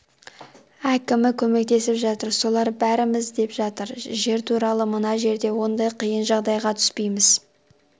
әкімі көмектесіп жатыр солар береміз деп жатыр жер туралы мына жерде ондай қиын жағдайға түспейміз